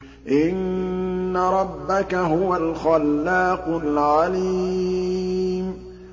إِنَّ رَبَّكَ هُوَ الْخَلَّاقُ الْعَلِيمُ